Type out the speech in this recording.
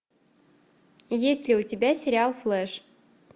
есть ли у тебя сериал флэш